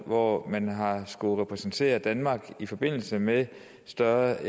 hvor man har skullet repræsentere danmark i forbindelse med større